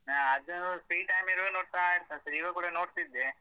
ಹ ಅದು free time ಇರುವಾಗ ನೋಡ್ತಾ ಇರ್ತೇನೆ sir ಈವಾಗ್ ಕೂಡ ನೋಡ್ತಿದ್ದೆ.